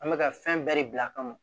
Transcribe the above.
An bɛ ka fɛn bɛɛ de bila a kama